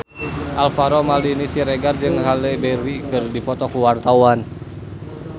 Alvaro Maldini Siregar jeung Halle Berry keur dipoto ku wartawan